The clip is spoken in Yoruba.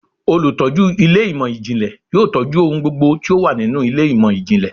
Olutọju ilé imọ-jinlẹ yóò tọju ohún gbógbó tí o wa ninú ilé imọ-jinlẹ